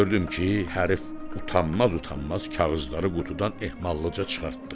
Gördüm ki, hərfi utanmaz-utanmaz kağızları qutudan ehmallıca çıxartdı.